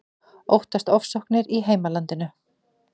Óttast ofsóknir í heimalandinu